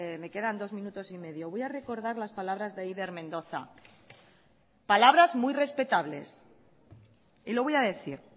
me quedan dos minutos y medio voy a recordar las palabras de eider mendoza palabras muy respetables y lo voy a decir